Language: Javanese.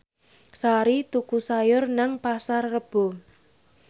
Sari tuku sayur nang Pasar Rebo